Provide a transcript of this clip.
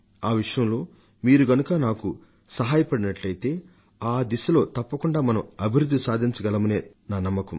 ఆ విషయంలో మీరు గనుక నాకు సహాయపడినట్లయితే ఆ దిశలో తప్పకుండా మనం అభివృద్ధిని సాధించగలమనే నా నమ్మకం